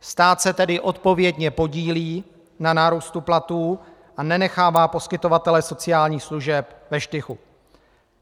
Stát se tedy odpovědně podílí na nárůstu platů a nenechává poskytovatele sociálních služeb ve štychu.